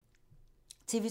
TV 2